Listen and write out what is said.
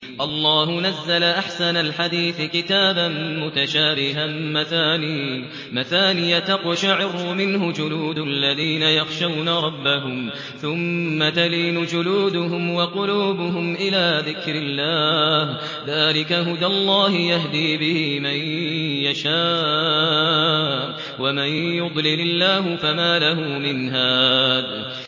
اللَّهُ نَزَّلَ أَحْسَنَ الْحَدِيثِ كِتَابًا مُّتَشَابِهًا مَّثَانِيَ تَقْشَعِرُّ مِنْهُ جُلُودُ الَّذِينَ يَخْشَوْنَ رَبَّهُمْ ثُمَّ تَلِينُ جُلُودُهُمْ وَقُلُوبُهُمْ إِلَىٰ ذِكْرِ اللَّهِ ۚ ذَٰلِكَ هُدَى اللَّهِ يَهْدِي بِهِ مَن يَشَاءُ ۚ وَمَن يُضْلِلِ اللَّهُ فَمَا لَهُ مِنْ هَادٍ